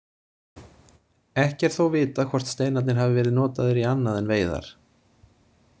Ekki er þó vitað hvort steinarnir hafi verið notaðir í annað en veiðar.